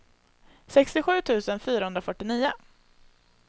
sextiosju tusen fyrahundrafyrtionio